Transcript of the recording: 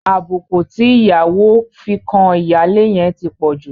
Àbùkù tí ìyàwó fi kan ìyáálé yẹn ti pọ̀ jù.